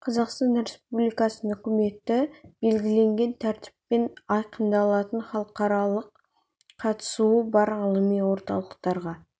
қазақстан республикасының үкіметі белгіленген тәртіппен айқындалатын халықаралық қатысуы бар ғылыми орталықтарға